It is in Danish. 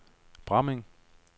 Bramming